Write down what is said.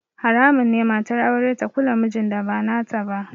Haramun ne matar aure ta kula mijin da ba nata ba